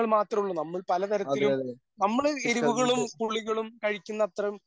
അതെ അതെ ചിക്കൻ കൊണ്ട്